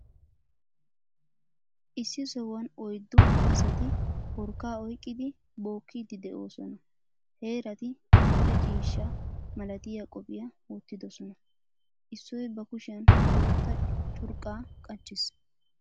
Issi sohuwan oyddu asati porkkaa oyqqidi bookkidi de'oososna. Heerati adil"e ciishshaa malatiya qophphiya wottiddosona. Issoy ba kushshiyan boottaa curqqa qachchiis.